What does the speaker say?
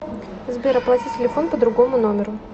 сбер оплати телефон по другому номеру